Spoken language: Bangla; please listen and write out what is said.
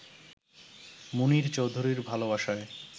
মুনীর চৌধুরীর ভালোবাসায়